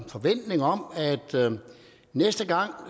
forventning om at næste gang